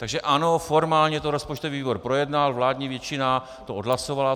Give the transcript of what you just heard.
Takže ano, formálně to rozpočtový výbor projednal, vládní většina to odhlasovala.